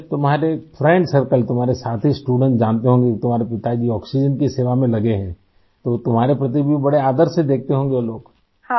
جب آپ کےدوستوں کا حلقہ ، تمہارے ساتھی طلباء جانتے ہوں گے کہ تمہارے والد آکسیجن کی خدمت میں لگے ہیں تو تمہیں وہ بہت احترام سے دیکھتے ہو ں گے ؟